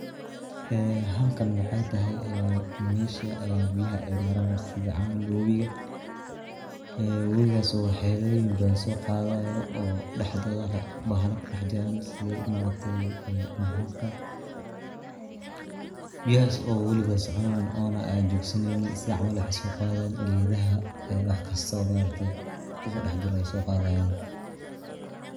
Ee halkan waxay tahay ee mesha biyaha ay maraan sida camal wabiga ee wabigas oo waxyaloyin badan so qaadayo oo daxdooda bahala ku dax jiran sidi ma aragte ee masaska biyahas oo waliba soconayo oona jogsaneynin sida camal waxay so qadayan geedaha wax kasto ma aragtay kudax jira ey so qadayan.